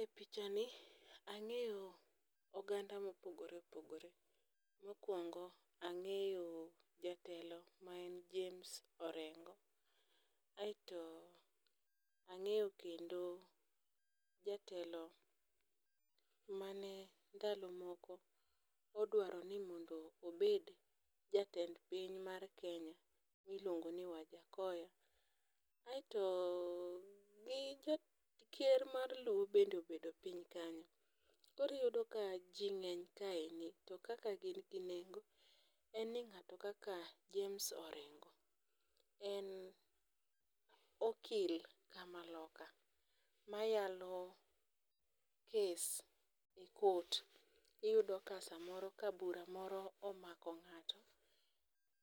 E pichani ang'eyo oganda mopogore opogore. Mokwongo ang'eyo jatelo ma en Jmaes Orengo, aeto ang'eyo kendo jatelo mane ndalo moko odwaro ni mondo obed jatend piny mar Kenya miluongoni Wajakhoya, aeto gi Ker mar Luo bende obedo piny kanyo. Koro iyudo ka ji ng'eny kaendi to kaka gin gi nengo en ni ng'ato kaka James Orengo en okil kamaloka mayalo kes e court. Iyudo ka samoro ka bura moro omako ng'ato,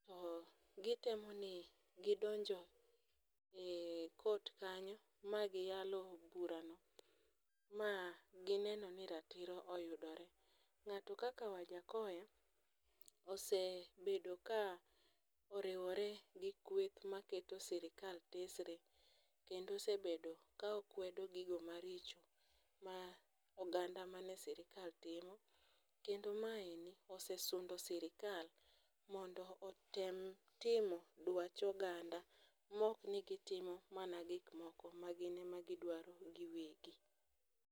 to gitemo ni gidonjo e court kanyo ma giyalo burano, ma gineno ni ratiro oyudore. Ng'ato kaka Wajakhoya ,osebedo ka oriwore gi kweth maketo sirikal tesre kendo osebedo ka okwedo gigo maricho ma oganda mane sirikal timo kendo maendi nosesundo sirikal mondo otem timo dwach oganda mok ni gitimo mana gikmoko magin ema gidwaro giwegi.